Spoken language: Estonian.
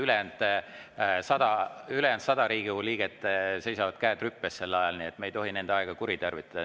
Ülejäänud 100 Riigikogu liiget seisavad sel ajal, käed rüpes, me ei tohi nende aega kuritarvitada.